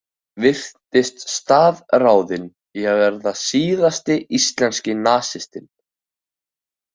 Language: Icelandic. Hann virtist staðráðinn í að verða síðasti íslenski nasistinn.